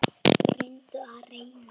Renni og renni.